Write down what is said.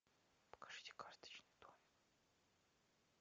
покажите карточный домик